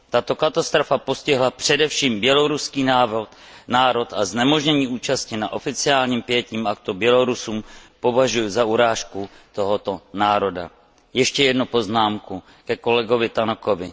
Tato katastrofa postihla především běloruský národ a znemožnění účasti na oficiálním pietním aktu Bělorusům považuji za urážku tohoto národa. Ještě jednu poznámku ke kolegovi Tannockovi.